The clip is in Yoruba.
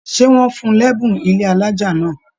Ṣe wọn fún l'ẹbùn ilé alájá náà?